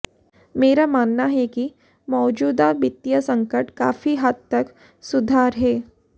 मेरा मानना है कि मौजूदा वित्तीय संकट काफी हद तक सुधार है